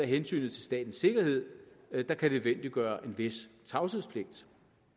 hensynet til statens sikkerhed der kan nødvendiggøre en vis tavshedspligt